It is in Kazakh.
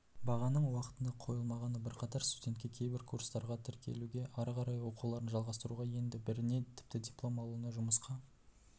бағаның уақытында қойылмағаны бірқатар студентке кейбір курстарға тіркелуге ары қарай оқуларын жалғастыруға енді біріне тіпті диплом алуына жұмысқа